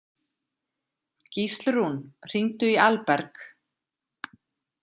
Gíslrún, hringdu í Alberg.